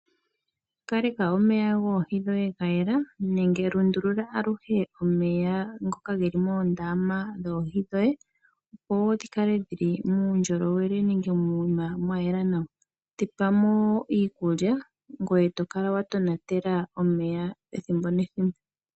Opaleka omeya gwoohi dhoye ga yela nenge lundulula aluhe omeya ngoka geli moondama dhoohi dhoye, opo wo dhikale muundjolowele nenge mokuma mwayela nawa todhi tulilemo iikulya ngweye yo kala wa tonatela omeya ethimbo nethimbo.